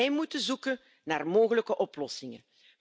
Wij moeten zoeken naar mogelijke oplossingen.